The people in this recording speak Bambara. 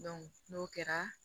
n'o kɛra